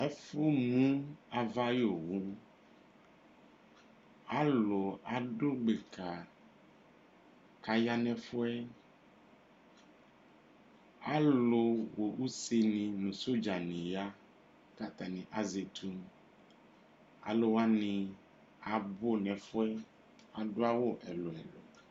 Ɛfu mu ava yu owu alu adu gbaka ka ya nɛfuɛ alu wa useni nu sɔdza ni ya katani azɛ etu aluwani abu nɛfɛ adu awu ɛlu ɛlu